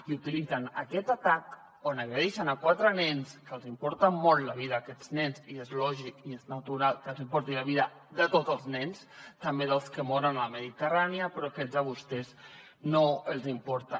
i utilitzen aquest atac on agredeixen quatre nens que els importa molt la vida d’aquests nens i és lògic i natural que els importi la vida de tots els nens també dels que moren a la mediterrània però aquests a vostès no els importen